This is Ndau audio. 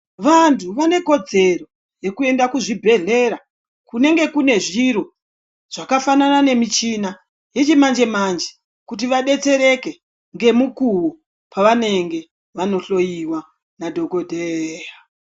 Vanthu vane kodzero yekuenda kuzvibhedhlera kunenge kune zviro yakaita semichina yechimanje manje kuti vadetsereke ngemukuwo pavanenge vanohloyiwa nadhokodheya.